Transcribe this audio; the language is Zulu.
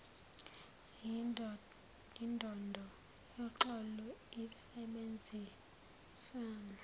yindondo yoxolo insebenziswano